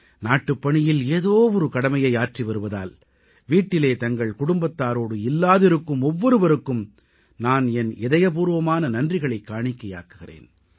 நாட்டுப்பணியில் ஏதோ ஒரு கடமையை ஆற்றிவருவதால் வீட்டிலே தங்கள் குடும்பத்தாரோடு இல்லாதிருக்கும் ஒவ்வொருவருக்கும் நான் என் இதயபூர்வமான நன்றிகளைக் காணிக்கையாக்குகிறேன்